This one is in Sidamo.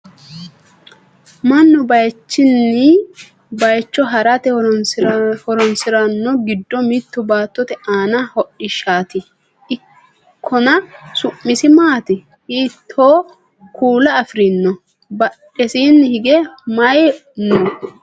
mannu bayeechunni bayeecho harate horonsirannori giddo mittu baattote aani hodhishshaati ikkona su'masi maati? hiittooo kuula afirinoho? badhesiinni hige maye nooho?